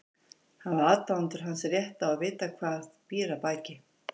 Hafa aðdáendur hans rétt á að vita hvað býr að baki?